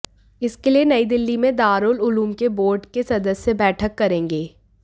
इसके लिए नई दिल्ली में दारूल उलूम के बोर्ड के सदस्य बैठक करेंगे